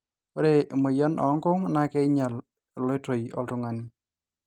ore emoyian oonkung naa keinyal eloiotoi oltungani